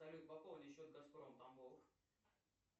салют пополни счет газпром тамбов